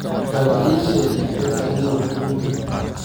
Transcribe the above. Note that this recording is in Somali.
Bal ii sheeg badda ugu weyn adduunka